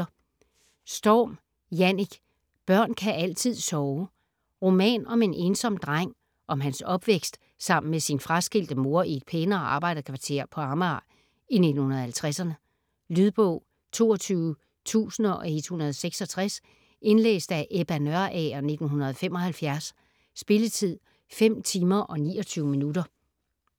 Storm, Jannick: Børn kan altid sove Roman om en ensom dreng, om hans opvækst sammen med sin fraskilte mor i et pænere arbejderkvarter på Amager i 1950'erne. Lydbog 22166 Indlæst af Ebba Nørager, 1975. Spilletid: 5 timer, 29 minutter.